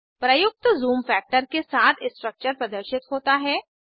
प्रयुक्त zoom factor के साथ स्ट्रक्चर प्रदर्शित होता है